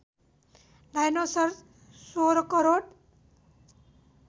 dinosaur १६ crore